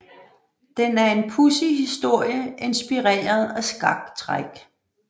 Den er en pudsig historie inspireret af skaktræk